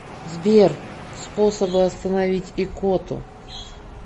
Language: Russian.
сбер способы остановить икоту